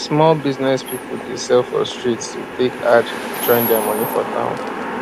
small business people dey sell for street to take add join their money for town